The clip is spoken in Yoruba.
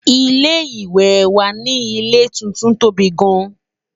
ilé ìwé wà nì ilé tuntun tóbi gaan